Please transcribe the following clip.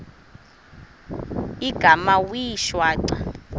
igama wee shwaca